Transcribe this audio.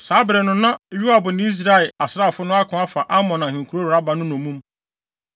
Saa bere no, na Yoab ne Israel asraafo no ako afa Amon ahenkurow Raba no nnommum.